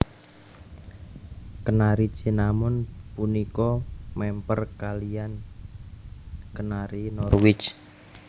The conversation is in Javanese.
Kenari Cinnamon punika mèmper kaliyan Kenari Norwich